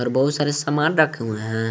बहुत सारे सामान रखे हुए हैं।